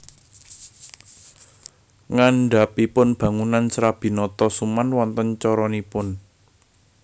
Ngandhapipun bangunan Serabi Notosuman wonten coronipun